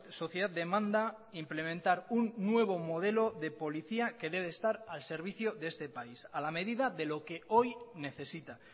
sociedad demanda implementar un nuevo modelo de policía que debe estar al servicio de este país a la medida de lo que hoy necesita